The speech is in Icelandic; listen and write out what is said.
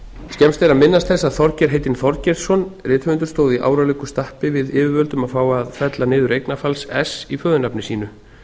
skemmst er að minnast þess að þorgeir heitinn þorgeirsson rithöfundur stóð í áralöngu stappi við yfirvöld um að fá að fella niður eignarfalls ess í föðurnafni sínu